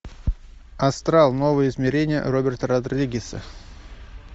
астрал новые измерения роберта родригеса